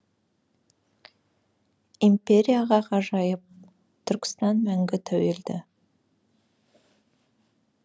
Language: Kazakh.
империяға ғажайып түркістан мәңгі тәуелді